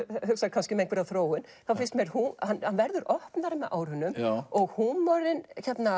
kannski um einhverja þróun þá finnst mér hann verður opnari með árunum og húmorinn